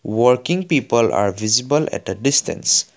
working people are visible at a distance.